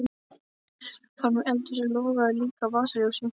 Frammí eldhúsi logaði líka á vasaljósi.